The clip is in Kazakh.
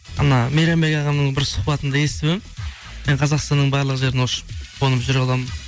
ана мейрамбек ағамның бір сұхбатында есіп едім мен қазақстанның барлық жерін ұшып қонып жүре аламын